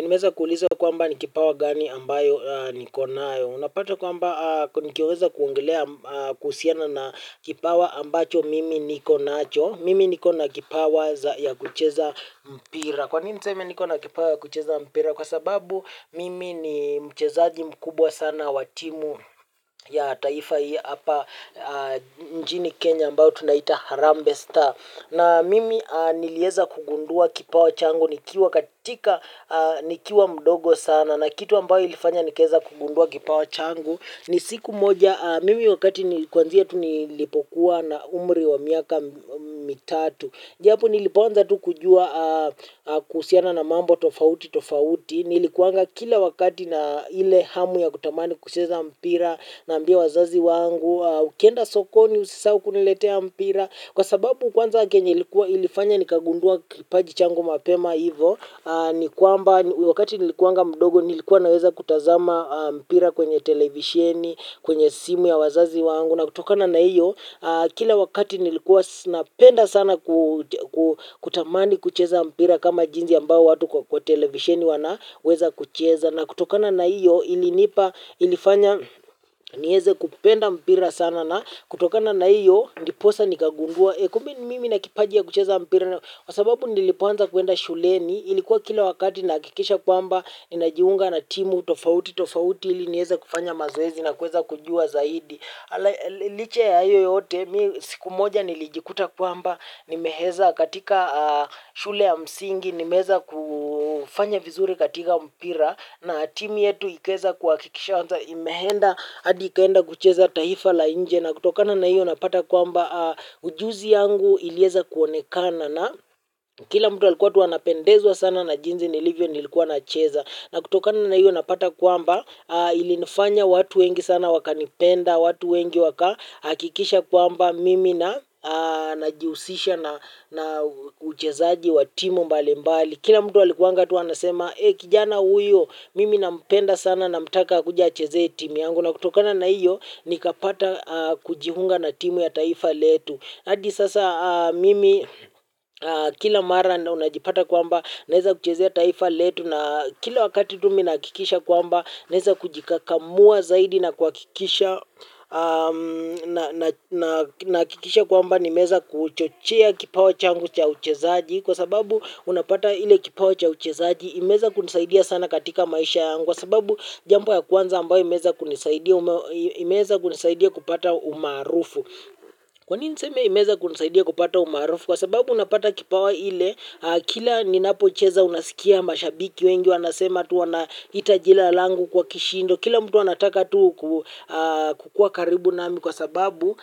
Nimewezakuuliza kwamba ni kipawa gani ambayo nikonayo. Unapata kwamba nikiweza kuongelea kuhusiana na kipawa ambacho mimi nikonacho. Mimi nikona kipawa ya kucheza mpira. Kwa nini niseme nikona kipawa ya kucheza mpira? Kwa sababu mimi ni mchezaji mkubwa sana wa timu ya taifa hii hapa nchini Kenya ambayo tunaita Harambe Star. Na mimi nilieza kugundua kipawa changu nikiwa katika nikiwa mdogo sana na kitu ambayo ilifanya nikaweza kugundua kipawa changu ni siku moja mimi wakati ni kwanzia tunilipokuwa na umri wa miaka mitatu. Niliponza tu kujua kuhusiana na mambo tofauti tofauti, nilikuanga kila wakati na ile hamu ya kutamani kucheza mpira naambia wazazi wangu, ukienda sokoni usisahau kuniletea mpira, kwa sababu kwanza kenye ilifanya ni kagundua kipaji changu mapema hivo, ni kwamba wakati nilikuanga mdogo nilikuwa naweza kutazama mpira kwenye televisheni, kwenye simu ya wazazi wangu. Na kutokana na hiyo kila wakati nilikuwa napenda sana. Kutamani kucheza mpira kama jinsi ambao watu kwa televisieni wanaweza kucheza na kutokana na hiyo ilinipa. Nieze kupenda mpira sana na kutokana na hiyo ndiposa nikagundua kumbe mimi nina kipajia kucheza mpira. Kwa ababu nilipoanza kuenda shuleni ilikuwa kila wakati nahakikisha kwamba ninajiunga na timu tofauti tofauti ili nieze kufanya mazoezi na kuweza kujua zaidi. Liche ya hiyo yote mimi siku moja nilijikuta kwamba nimeheza katika shule ya msingi nimeweza kufanya vizuri katika mpira na timu yetu ikaweza kuhakikisha kwamba imeenda hadi ikaenda kucheza taifa la nje na kutokana na hiyo napata kwamba ujuzi yangu ilieza kuonekana. Na kila mtu alikuwa anapendezwa sana na jinsi nilivyo nilikuwa nacheza. Na kutokana na hiyo unapata kwamba ilinifanya watu wengi sana wakanipenda, watu wengi wakahakikisha kwamba mimi na. Najihusisha na uchezaji wa timu mbali mbali. Kila mtu alikuanga anasema kijana huyu mimi napenda sana namtaka akuje acheze timu yangu. Na kutokana na hiyo nikapata kujiunga na timu ya taifa letu. Hadi sasa mimi kila mara na unajipata kwamba naeza kuchezea taifa letu na kila wakati tu mimi nahakikisha kwamba naeza kujikakamua zaidi na kuhakikisha nahakikisha kwamba nimeweza kuchochea kipawa changu cha uchezaji. Kwa sababu unapata ile kipawa cha uchezaji imeweza kunisaidia sana katika maisha yangu kwa sababu jambo ya kwanza ambayo imeweza kunisaidia kupata umaharufu. Kwanini niseme imeweza kunusaidia kupata umaharufu? Kwa sababu unapata kipawa ile kila ninapocheza unasikia mashabiki wengi wanasema tu wanaita jina langu kwa kishindo. Kila mtu anataka tu kukuwa karibu nami kwa sababu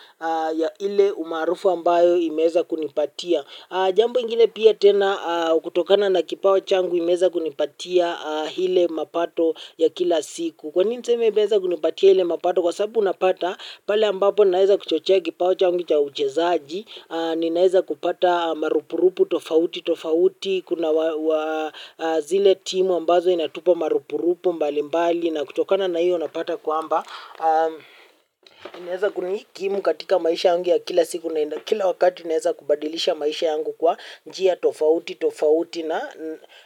ile umaharufu ambayo imeweza kunipatia. Jambo ingine pia tena kutokana na kipawa changu imeweza kunipatia ile mapato ya kila siku. Kwa nini niseme imeweza kunipatia ile mapato kwa sababu unapata pale ambapo naeza kuchochea kipawa changu cha uchezaji. Ninaeza kupata marupurupu tofauti tofauti. Kuna zile timu ambazo inatupa marupurupu mbali mbali. Na kutokana na hiyo unapata kwamba ninaeza kunikimu katika maisha yangu ya kila siku. Kila wakati inaweza kubadilisha maisha yangu kwa njia tofauti tofauti na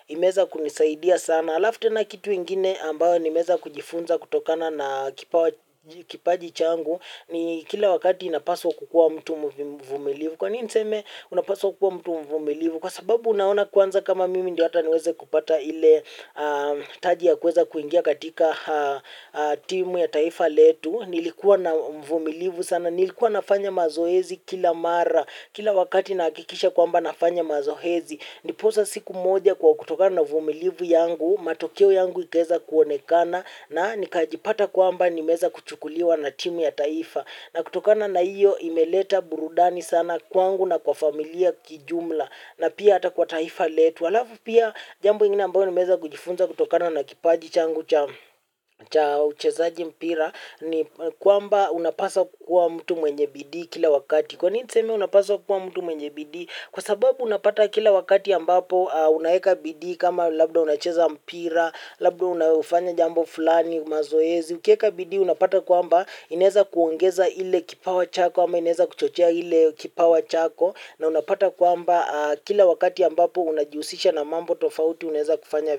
imeweza kunisaidia sana. Alafu tena kitu ingine ambayo nimeweza kujifunza kutokana na kipawa kipaji changu ni kila wakati napaswa kukuwa mtu mvumilivu. Kwa nini niseme unapaswa kukua mtu mvumilivu? Kwa sababu unaona kwanza kama mimi ndio hata niweze kupata ile taji ya kuweza kuingia katika timu ya taifa letu. Nilikuwa na uvumilivu sana. Nilikuwa nafanya mazoezi kila mara. Kila wakati nahakikisha kwamba nafanya mazoezi. Ndiposa siku moja kwa kutokana na uvumilivu yangu, matokeo yangu ikaeza kuonekana na nikajipata kwamba nimeeza kuchukuliwa na timu ya taifa. Na kutokana na iyo imeleta burudani sana kwangu na kwa familia kijumla. Na pia hata kwa taifa letu. Alafu pia jambo ingine ambayo nimeeza kujifunza kutokana na kipaji changu cha uchezaji mpira ni kwamba unapaswa kukuwa mtu mwenye bidii kila wakati. Kwa ni niseme unapaswa kukuwa mtu mwenye bidii kwa sababu unapata kila wakati ambapo unaeka bidii kama labda unacheza mpira, labda unafanya jambo fulani mazoezi. Ukieka bidii unapata kwamba inaeza kuongeza ile kipawa chako ama inaeza kuchochea ile kipawa chako na unapata kwamba kila wakati ambapo unajihusisha na mambo tofauti unaeza kufanya.